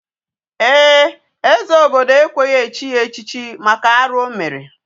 Ee, eze obodo ekweghị echi ya echichi maka arụ o mere.